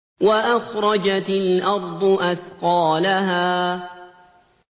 وَأَخْرَجَتِ الْأَرْضُ أَثْقَالَهَا